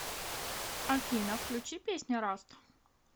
афина включи песня раст